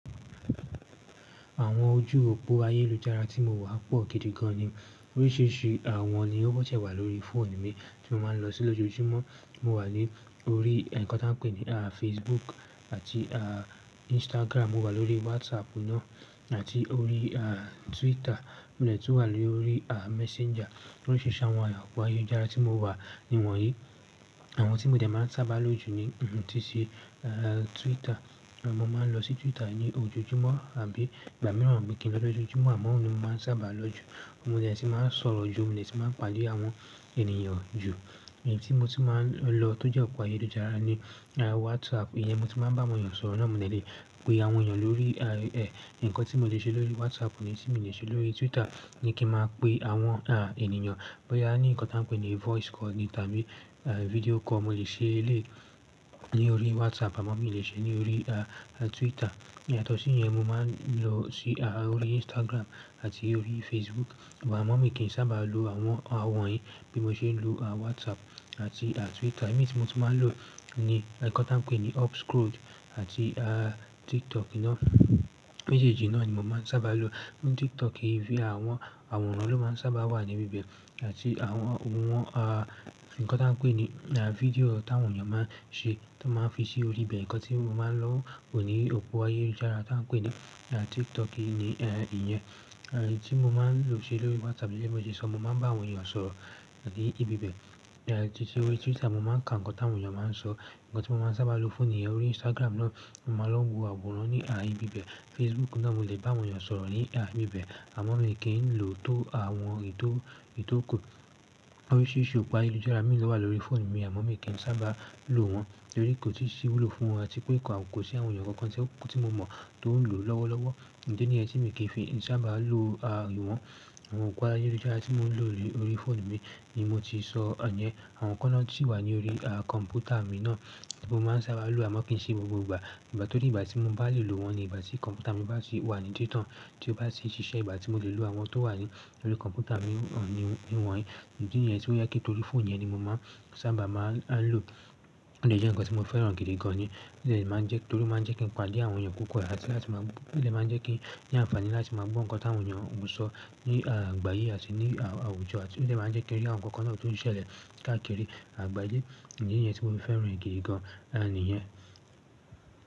Àwọn ojú òpó ayélujára tí mo wà pọ̀ gidi gan ni. Oríṣìíríṣìí àwọn ni ó bọ̀ sẹ́ wà lórí fóònù mi tí mo máa ń lọ sí lójoójúmọ́. Mo wà lórí ǹkan tí wọ́n ń pè ní Facebook àti Instagram, mo wà lórí WhatsApp náà àti orí Twitter, mo lè tún wà lórí Messenger. Oríṣiríṣi àwọn òpó ayélujára tí mo wà ni wọ̀nyí. Àwọn tí mo dè máa ń sábà lo jù ni títí Twitter. Mo máa ń lọ sí Twitter ní ojoojúmọ́ àbí ìgbà mìíràn àbí kí ń lọ lójoójúmọ́, àmọ́ òun ni mo máa ń sábà lo jù. Mo dè ti máa ń sọ̀rọ̀ jù, mo lè tún máa ń pàdé àwọn ènìyàn jù. Ẹ̀yí tí mo ti máa ń lọ tó jẹ́ òpó ayélujára ni WhatsApp. Ìyẹn mo ti máa ń bá àwọn ènìyàn sọ̀rọ̀ náà, mo dè lè pe àwọn ènìyàn lórí ẹ̀. Ǹkan tí mo lè ṣe lórí WhatsApp ni tí mo lè ṣe lórí Twitter ni kí n máa pe àwọn ènìyàn. Bóyá ní ǹkan tí wọ́n ń pè ní voice call ni tàbí video call mo lè ṣe eléyìí lórí WhatsApp, àmọ́ mi ò lè ṣe é lórí Twitter. Yatọ́ sí yẹn mo máa ń lọ sí orí Instagram àti orí Facebook, àmọ́ mi kì í sábà lo àwọn, àwọn wonyìí bí mo ṣe ń lo WhatsApp àti Twitter. Imí tí mo ti máa ń lo ní ǹkan tí wọ́n ń pè ní UpScrolled àti TikTok náà. Mejeejì náà ni mo máa ń sábà lo. Lórí TikTok yìí, àwọn àwòrán ló máa ń sábà wà ní ibi bẹ̀ àti àwọn, àwọn ǹkan tí wọ́n ń pè ní fídíò tí àwọn ènìyàn máa ń ṣe tí wọ́n máa ń fi sí orí ibẹ̀. Ǹkan tí mo máa ń lọ wò ní òpó ayélujára tí wọ́n ń pè ní TikTok yìí ni ìyẹn. Ẹ̀yí tí mo máa ń lọ ṣe lórí WhatsApp bí mo ṣe sọ, mo máa ń bá àwọn ènìyàn sọ̀rọ̀ láti ibi bẹ̀. Títí orí Twitter, mo máa ń ka ǹkan tí àwọn ènìyàn máa ń sọ. Ǹkan tí mo máa ń sábà lo fún niyẹn lórí Instagram náà, mo máa lọ wo àwòrán ní ibi bẹ̀. Facebook náà mo lè bá àwọn ènìyàn sọ̀rọ̀ ní ibi bẹ̀, àmọ́ mi kì í lò tó àwọn ètò, ètò ku. Oríṣìíríṣìí òpó ayélujára mìíràn ló wà lórí fóònù mi, àmọ́ mi kì í sábà lo wọn. Tórí kò tíì sí ìwúlò fún wọn àti pé kò sí àwọn ènìyàn kankan tí mo mọ̀ tó ń lò lọ́wọ́lọ́wọ́. Ìdi nìyẹn tí mi kì í fi sábà lo àwọn, àwọn òpó ayélujára tí mò ń lo lórí fóònù mi ni mo ti sọ yẹn. Àwọn kan náà sí wà ní orí kọ̀m̀pútà mi náà tí mo máa ń sábà lo àmọ́ kì í ṣe gbogbo ìgbà. Ìgbà tó dí ìgbà tí mo bá lè lo wọn ni ìgbà tí kọ̀m̀pútà mi bá sì wà ní títàn, tí ó bá sì ṣiṣẹ́, ìgbà tí mo lè lo àwọn tó wà ní orí kọ̀m̀pútà mi ni wọ̀nyí. Ìdí nìyẹn, tì ó yẹ ke torí fóònù yẹn ni mo máa ń sábà máa ń lo. Ó jẹ́ ǹkan tí mo fẹ́ràn gidi gan ni. Ó lè máa ń jẹ́ torí ó máa ń jẹ́ kí n pàdé àwọn ènìyàn púpọ̀ àti láti máa, ó lè máa ń jẹ́ kí n ní àǹfààní láti máa gbọ́ ǹkan tí àwọn ènìyàn ń sọ ní ìgbà yìí àti ní àwùjọ àti ó lè máa ń jẹ́ kí ó rí àwọn ǹkan kan náà tó ń ṣẹlẹ̀ káàkiri àgbáyé. Ìdí nìyẹn tí mo ti fẹ́ràn gidi gan ni ìyẹn.